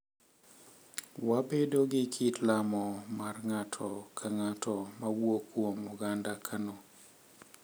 Wabedo gi kit lamo mar ng’ato ka ng’ato ma wuok kuom oganda Kano,